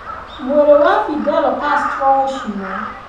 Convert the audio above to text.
Mwĩrĩ wa Fidel Castro gũcinwo.